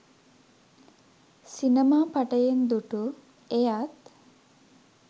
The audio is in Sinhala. සිනමා පටයෙන් දු‍ටු! එයත්